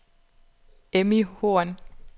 Emmy Horn